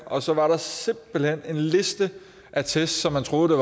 og så var der simpelt hen en liste af test så man troede at